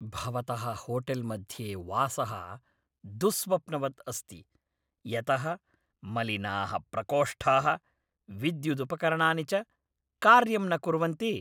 भवतः होटेल्मध्ये वासः दुःस्वप्नवद् अस्ति यतः मलिनाः प्रकोष्ठाः, विद्युदुपकरणानि च कार्यं न कुर्वन्ति।